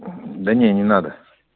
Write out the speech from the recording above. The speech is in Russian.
да нет не надо